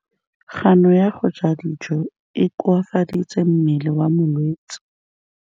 Kganô ya go ja dijo e koafaditse mmele wa molwetse.